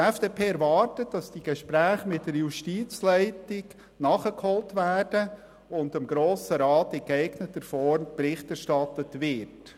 Die FDP-Fraktion erwartet, dass die Gespräche mit der Justizleitung nachgeholt werden und dem Grossen Rat in geeigneter Form Bericht erstattet wird.